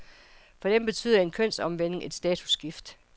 For dem betyder en kønsomvending et statusskift.